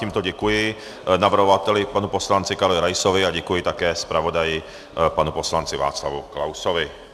Tímto děkuji navrhovateli panu poslanci Karlu Raisovi a děkuji také zpravodaji panu poslanci Václavu Klausovi.